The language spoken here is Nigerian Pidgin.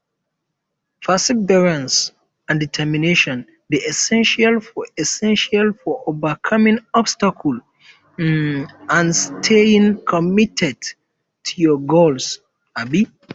perseverance and determination dey essential for essential for overcoming obstacles um and um staying committed to your goals um